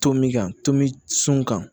Tomin kan tomboucun kan